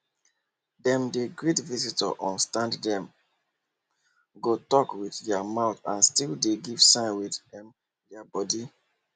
dem dey greet visitor on standdem go talk with their mouth and still give dem sign with um their body